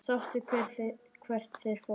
Sástu hvert þeir fóru?